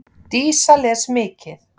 Dísa les mikið.